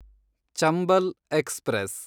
Chambal express